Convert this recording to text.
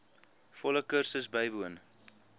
volle kursus bywoon